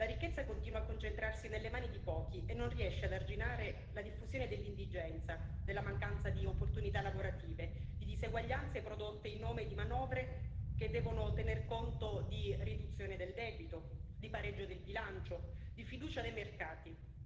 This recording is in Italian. La ricchezza continua a concentrarsi nelle mani di pochi e non riesce ad arginare la diffusione dell'indigenza, della mancanza di opportunità lavorative, di diseguaglianze prodotte in nome di manovre che devono tener conto di riduzione del debito, di pareggio del bilancio, di fiducia dei mercati.